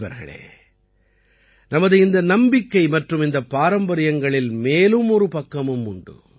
நண்பர்களே நமது இந்த நம்பிக்கை மற்றும் இந்தப் பாரம்பரியங்களில் மேலும் ஒரு பக்கமும் உண்டு